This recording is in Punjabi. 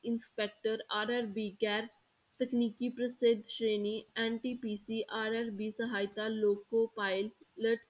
Inspector RRB ਗੈਰ ਤਕਨੀਕੀ ਪ੍ਰਸਿੱਧ ਸ਼੍ਰੇਣੀ NTPCRRB ਸਹਾਇਤਾ ਲੋਪੋ pilot